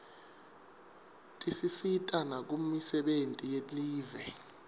tisisita nakumisebenti yelive